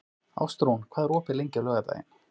Ástrún, hvað er opið lengi á laugardaginn?